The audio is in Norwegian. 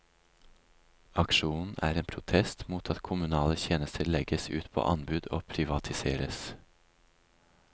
Aksjonen er en protest mot at kommunale tjenester legges ut på anbud og privatiseres.